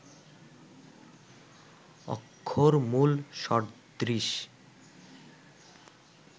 অক্ষরমূল সদৃশ